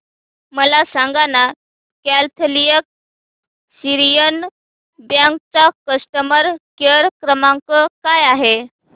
मला सांगाना Catholic Syrian Bank चा कस्टमर केअर क्रमांक काय आहे